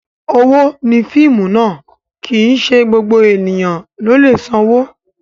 Owó ni fíìmù ná, kì í sì í ṣe gbogbo ènìyàn ló lè sanwó.